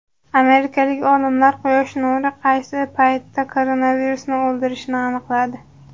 Amerikalik olimlar quyosh nuri qaysi paytda koronavirusni o‘ldirishini aniqladi.